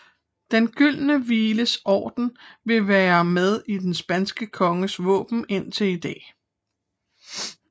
Den gyldne Vlies Orden vil være med i den spanske konges våben indtil i dag